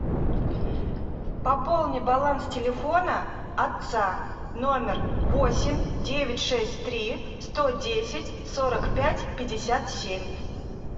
пополни баланс телефона отца номер восемь девять шесть три сто десять сорок пять пятьдесят семь